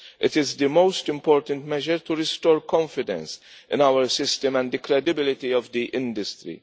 It is the most important measure to restore confidence in our system and the credibility of the industry.